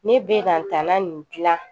Ne be ka n ta la nin gilan